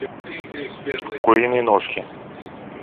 куриные ножки